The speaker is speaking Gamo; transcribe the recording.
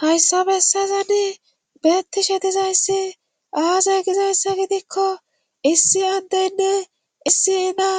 hayssa bessazani beettishe dizayssi aazay gizayssa gidikko issi addeynne issi ina